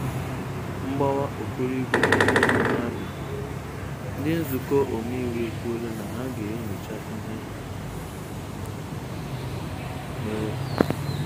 Mgbawa Ọkoroigwe Mmanụ Abia: Ndi nzukọ omeiwu ekwuola na ha ga-enyocha ihe mere.